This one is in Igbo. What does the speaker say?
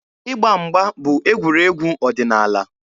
Ịgba mgba bụ egwuregwu ọdịnaala.